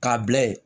K'a bila ye